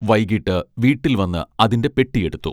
വൈകീട്ട് വീട്ടിൽ വന്ന് അതിന്റെ പെട്ടി എടുത്തു